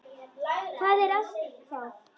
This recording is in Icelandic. Hvað er það þá?